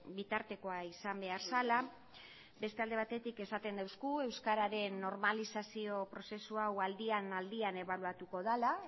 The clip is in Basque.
bitartekoa izan behar zela beste alde batetik esaten duzu euskararen normalizazio prozesu hau aldian aldian ebaluatuko dela